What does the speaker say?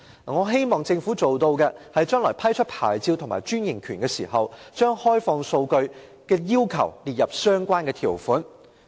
我希望政府將來批出牌照和專營權的時候，將開放數據的要求列入相關條款。